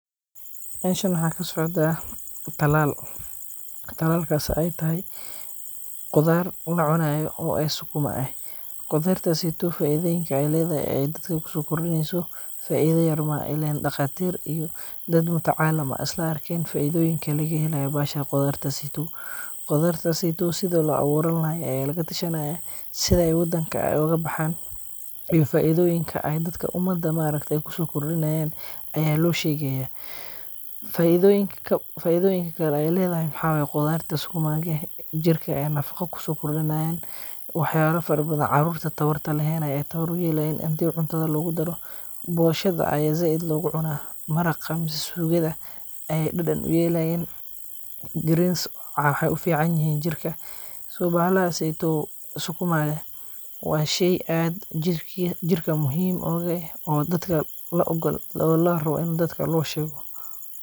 Meshan maxa kasocda, talaal, talaakas ay taxay, qudaar lacunayo oo ay sukuma eh, qudaartas seytow faidoyinka ay ledaxay ay dadka kusokordineyso faida yar maaxa, ilen daqatir iyo dad mutacalam ah aya islaarken faidoyinka lagaxelayo baxasha qudaartas seytow, qudaartas seytow sidi loawuran lahay aya lagatashanaya, sidhay wadanka ay ogabaxan, iyo faidoyinka ay dadka umada maarkate kusokordinayan aya loshegi xaya, faidoyinka kale ay ledaxay maxa waye qudaar sukuma eh, jirka aya nafago kusokordinayan, wax yala farabadan gofka tawarta lexen aya tawar uyelayan, xadhi cuntada logudaro, boshada aya zaid logucuna, maraqa mise suqada ayay dadan uyelayan, greens waxay uficanyixin jirka, so baxalahaseytow sukuma wa shey aad jirka muxiim ogu eh, oo dadka laogol larawo in dadka loshego.